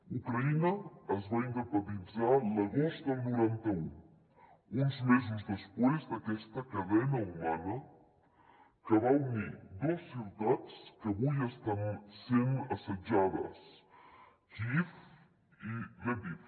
ucraïna es va independitzar l’agost del noranta un uns mesos després d’aquesta cadena humana que va unir dos ciutats que avui estan sent assetjades kíiv i lviv